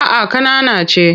A'a ƙanana ce.